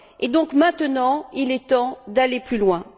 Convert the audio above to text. Et donc, maintenant, il est temps d'aller plus loin.